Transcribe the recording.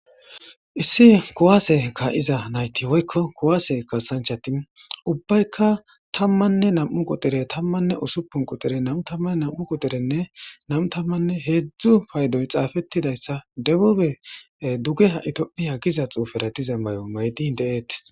Is kuwase ka'iza nayti woylo kuwade kasanchati ubbayka 12 quxure 16 quxure 22 quxurenne 23 paydoy xaafetidaysa debube dugeha tophiya Giza cufera de'iza mayo mayidi de'etes.